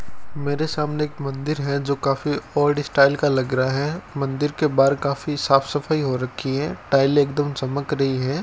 मेरे सामने एक मंदिर है जो काफी ओल्ड स्टाइल का लगा रहा है मंदिर के बाहर काफी साफ सफाई हो रखी है टाइल एकदम चमक रही है।